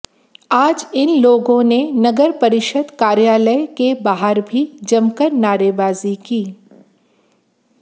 आज इन लोगों ने नगर परिषद कार्यालय के बाहर भी जमकर नारेबाजी की